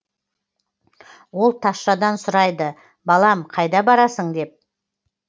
ол тазшадан сұрайды балам қайда барасын деп